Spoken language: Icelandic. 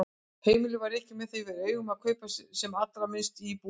Heimilið var rekið með það fyrir augum að kaupa sem allra minnst í búðum.